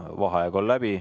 Vaheaeg on läbi.